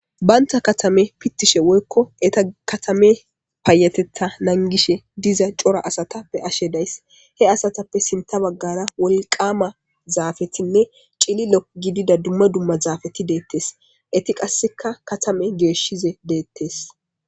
baynta katame pittishe woykko eta katame paayatetha nangishe diza cora asatappe ashe days he asatappe sinta baggara wolqama zaafetinne cililo gidida dumma dumma zaafeti deettes eti qasseka katame geeshshize deettes